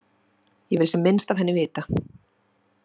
Ég vil sem minnst af henni vita.